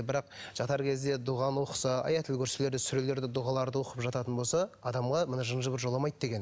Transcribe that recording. бірақ жатар кезде дұғаны оқыса аят аль курсилерді сүрелерді дұғаларды оқып жататын болса адамға мына жын жыбыр жоламайды деген